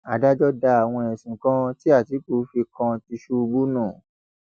adájọ da àwọn ẹsùn kan tí àtìkú fi kan tìṣubù nù